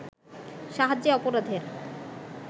সাহায্যে অপরাধের